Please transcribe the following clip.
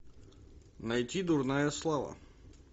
найти дурная слава